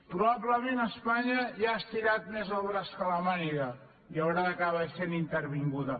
probablement espanya ja ha estirat més el braç que la màniga i haurà d’acabar sent intervinguda